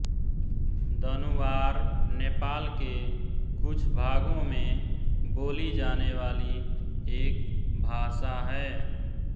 दनुवार नेपाल के कुछ भागों में बोली जाने वाली एक भाषा है